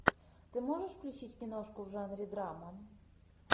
ты можешь включить киношку в жанре драма